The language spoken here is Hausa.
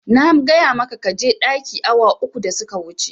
Na gaya maka kaje ɗaki awa uku da suka wuce